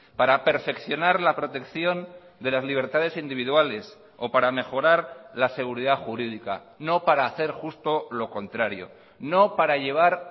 para perfeccionar la protección de las libertades individuales o para mejorar la seguridad jurídica no para hacer justo lo contrario no para llevar